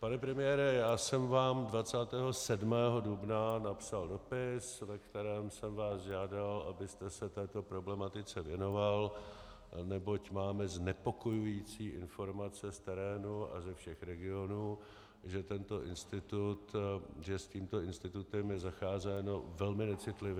Pane premiére, já jsem vám 27. dubna napsal dopis, ve kterém jsem vás žádal, abyste se této problematice věnoval, neboť máme znepokojující informace z terénu a ze všech regionů, že s tímto institutem je zacházeno velmi necitlivě.